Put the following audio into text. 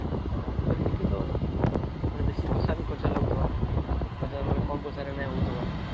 ଓ ଏଠି ତ ବେଶୀ ପଇସା ବି ଖର୍ଚ ଲାଗୁଥିବା ମାନେ କମ ପଇସା ରେ ନାଇଁ ହଉଥିବ ?